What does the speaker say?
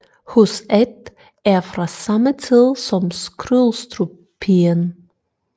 Hus 1 er fra samme tid som Skrydstruppigen